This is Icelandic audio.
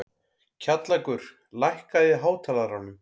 Kjallakur, lækkaðu í hátalaranum.